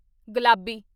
ਗੁਲਾਬੀ